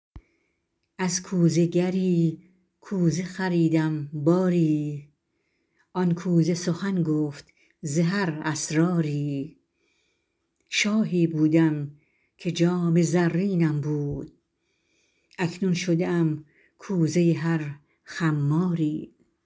از کوزه گری کوزه خریدم باری آن کوزه سخن گفت ز هر اسراری شاهی بودم که جام زرینم بود اکنون شده ام کوزه هر خماری